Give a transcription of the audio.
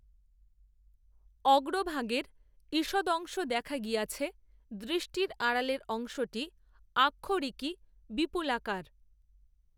অগ্রভাগের ঈষদংশ দেখা গিয়াছে দৃষ্টির আড়ালের অংশটি আক্ষরিকই বিপুলাকার